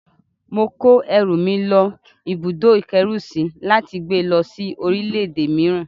Mo kó ẹrù mi lọ́ ibùdó-ìkẹ́rùsí láti gbé lọ́ sí orílẹ̀-èdè mìíràn